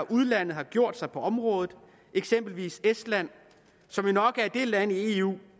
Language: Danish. udlandet har gjort sig på området eksempelvis estland som jo nok er det land i eu